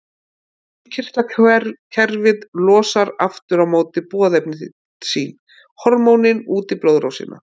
Innkirtlakerfið losar aftur á móti boðefni sín, hormónin, út í blóðrásina.